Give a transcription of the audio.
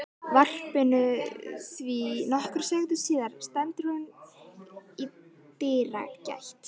varpinu því nokkrum sekúndum síðar stendur hún í dyragætt